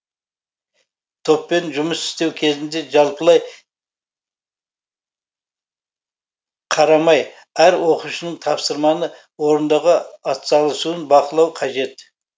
топпен жұмыс істеу кезінде жалпылай қарамай әр оқушының тапсырманы орындауға атсалысуын бақылау қажет